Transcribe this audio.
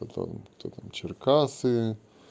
потом кто там черкассы